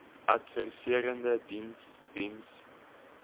adviserende diens diens